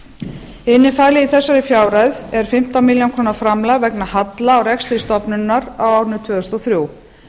innifalið í þessari fjárhæð er fimmtán milljónir króna framlag vegna halla á rekstri stofnunarinnar á árinu tvö þúsund og þrjú